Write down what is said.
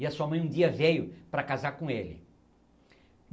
E a sua mãe um dia veio para casar com ele.